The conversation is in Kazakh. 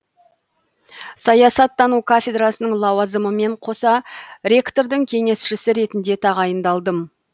саясаттану кафедрасының лауазымымен қоса ректордың кеңесшісі ретінде тағайындалдым